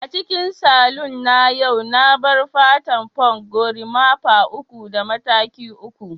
a cikin saloon na a yau na barb fata punk, gorimapa uku da mataki uku